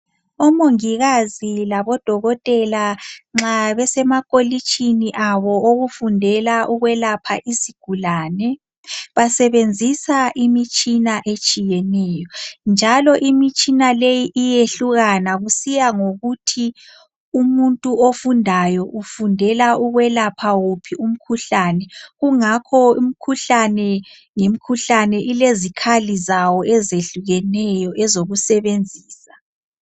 Omongikazi labodokotela nxa besemakolitshini abo awokufundela ukwelapha isigulane, basebenzisa imitshina etshiyeneyo, njalo imitshina leyi iyehlukana kusiya ngokuthi umuntu ofundayo ufundela ukwelapha uphi umkhuhlane. Kungakho umkhuhlane ngemkhuhlane ilezikhali zawo ezehlukeneyo ezokusebenzisa.